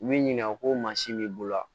U b'i ɲininka ko mansin b'i bolo